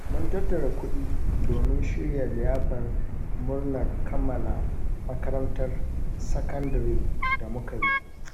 Mun tattara kuɗi domin shirya liyafar murnar kammala makarantar sakandare da muka yi.